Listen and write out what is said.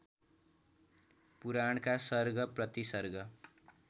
पुराणका सर्ग प्रतिसर्ग